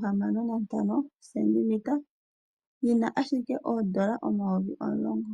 cm dhili 65 yina ashike oondola omayovi omulongo.